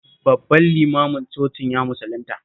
Babban limanin cocin ya musulunta